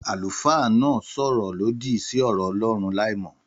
Àlùfáà náà sọ ọ̀rọ̀ lòdì sí ọ̀rọ̀ Ọlọ́run láìmọ̀